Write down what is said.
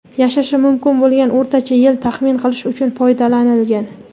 yashashi mumkin bo‘lgan o‘rtacha yil taxmin qilish uchun foydalanilgan.